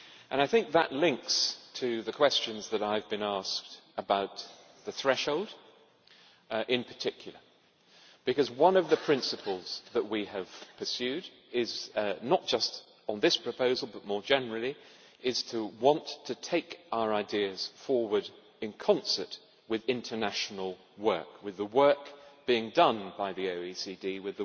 I think that links to the questions I have been asked about the threshold in particular, because one of the principles that we have pursued, not just on this proposal but more generally, is to want to take our ideas forward in concert with international work, with the work being done by the OECD and